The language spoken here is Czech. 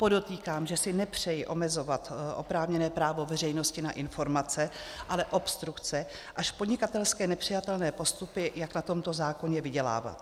Podotýkám, že si nepřeji omezovat oprávněné právo veřejnosti na informace, ale obstrukce až podnikatelsky nepřijatelné postupy, jak na tomto zákoně vydělávat.